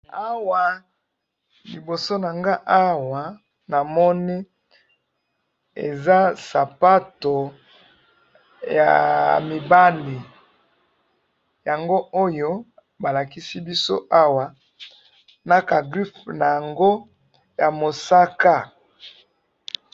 Awa liboso nanga awa namoni eza sapato ya mibali yango oyo balakisi biso awa naka grife nango ya mosaka.